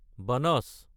বানাচ